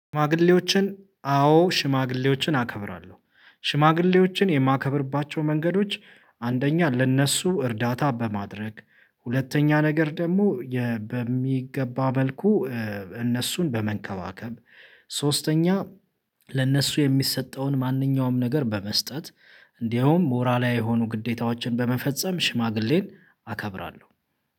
ሽማግሌዎችን አዎ ሽማግሌዎችን አከብራለሁ። ሽማግሌዎችን የማከብርባቸው መንገዶች አንደኛ ለእነሱ እርዳታ በማድረግ ሁለተኛ ነገር ደግሞ በሚገባ መልኩ እነሱን በመንከባከብ ሶስተኛ ለነሱ የሚሰጠውን ማንኛውም ነገር በመስጠት እንዲሁም ሞራላዊ የሆኑ ግዴታዎችን በመፈጸም ሽማግሌን አከብራለሁ።